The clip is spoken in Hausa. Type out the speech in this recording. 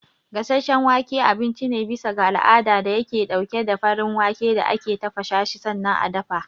Gasasshen wake abinci ne bisa ga al'ada dayake ɗauke da farin wake da ake tafasashi sannan a dafa.